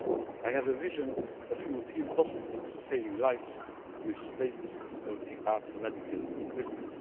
I have a vision of European hospitals saving lives with state of the art medical equipment.